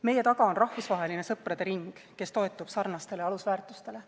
Meie taga on rahvusvaheline sõprade ring, kes toetub sarnastele alusväärtustele.